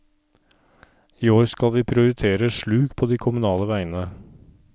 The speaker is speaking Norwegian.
I år skal vi prioriteter sluk på de kommunale veiene.